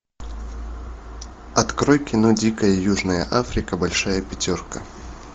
открой кино дикая южная африка большая пятерка